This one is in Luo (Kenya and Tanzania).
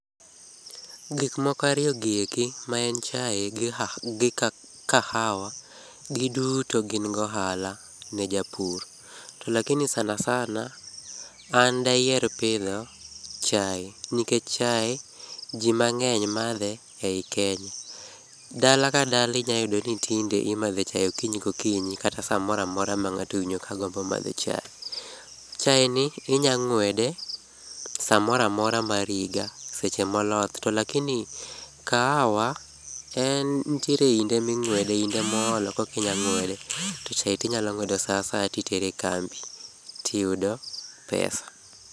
Gik moko ariyo gi eki maen chai gi kahawa giduto gin gi ohala ne japur. To lakini sana sana an dayier pidho chai nikech chai jii mangeny madhe ei Kenya, dala ka dala inyalo yudo ni tinde imadho chai okinyi ka okinyi kata samoro amora ma mangato owinjo kagombo madho chai. Chai ni inya ngwede samoro amora mar higa seche ma oloth to lakini kahawa nitie inde mingwede inde ma oloth to lakini kahawa en nitiere inde mingwede inde ma oolo koka inya ngwede to cai tinya ngwedo saa asaya titero e kambi tiyudo pesa